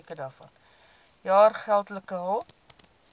jaar geldelike hulp